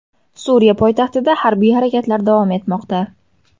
Suriya poytaxtida harbiy harakatlar davom etmoqda.